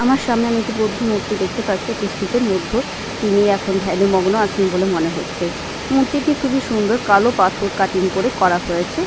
আমার সামনে আমি একটু বদ্ধ মুর্তি দেখতে পাচ্ছি একটা স্তূপের মধ্যে। তিনি এখন ধ্যানে মগ্ন আছেন বলে মনে হচ্ছে। মূর্তিটি খুবই সুন্দর কালো পাথর কাটিং করে করা হয়েছে।